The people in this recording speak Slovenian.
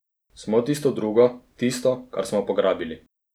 Smo tisto drugo, tisto, kar smo pograbili.